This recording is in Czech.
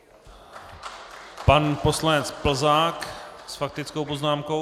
Pan poslanec Plzák s faktickou poznámkou.